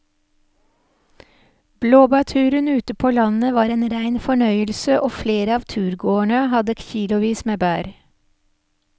Blåbærturen ute på landet var en rein fornøyelse og flere av turgåerene hadde kilosvis med bær.